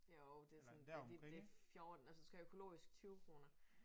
Jo det sådan det det det 14 og så skal have økologisk 20 kroner